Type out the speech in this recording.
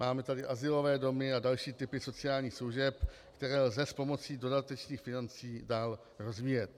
Máme tady azylové domy a další typy sociálních služeb, které lze s pomocí dodatečných financí dál rozvíjet.